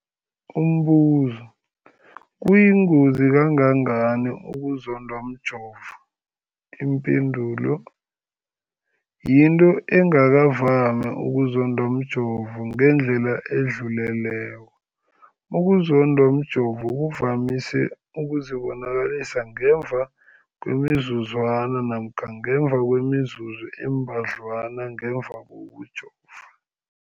Umbuzo, kuyingozi kangangani ukuzondwa mjovo? Ipendulo, yinto engakavami ukuzondwa mjovo ngendlela edluleleko. Ukuzondwa mjovo kuvamise ukuzibonakalisa ngemva kwemizuzwana namkha ngemva kwemizuzu embadlwana ngemva kokujova.